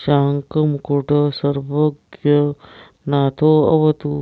शशाङ्कमुकुटः सर्वज्ञनाथोऽवतु